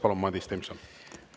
Palun, Madis Timpson!